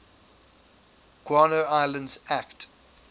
guano islands act